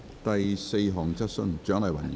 第四項質詢。